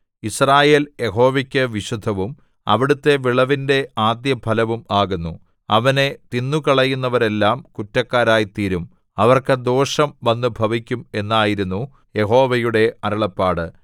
യിസ്രായേൽ യഹോവയ്ക്കു വിശുദ്ധവും അവിടുത്തെ വിളവിന്റെ ആദ്യഫലവും ആകുന്നു അവനെ തിന്നുകളയുന്നവരെല്ലാം കുറ്റക്കാരായിത്തീരും അവർക്ക് ദോഷം വന്നുഭവിക്കും എന്നായിരുന്നു യഹോവയുടെ അരുളപ്പാട്